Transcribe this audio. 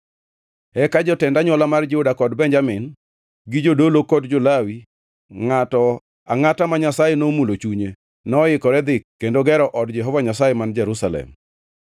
Eka jotend anywola mar Juda kod Benjamin, gi jodolo kod jo-Lawi, ngʼato angʼata ma Nyasaye nomulo chunye, noikore dhi kendo gero od Jehova Nyasaye man Jerusalem.